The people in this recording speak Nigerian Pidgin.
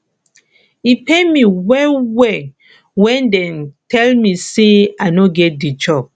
e pain me wellwell wen dem tell me sey i no get di job